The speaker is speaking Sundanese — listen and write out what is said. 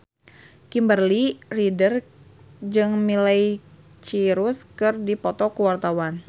Kimberly Ryder jeung Miley Cyrus keur dipoto ku wartawan